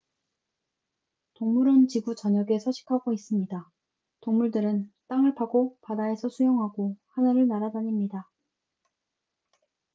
동물은 지구 전역에 서식하고 있습니다 동물들은 땅을 파고 바다에서 수영하고 하늘을 날아다닙니다